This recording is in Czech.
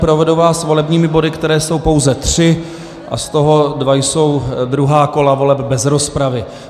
Provedu vás volebními body, které jsou pouze tři, a z toho dva jsou druhá kola voleb bez rozpravy.